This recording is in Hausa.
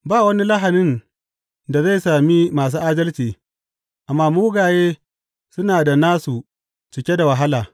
Ba wani lahanin da zai sami masu adalci, amma mugaye suna da nasu cike da wahala.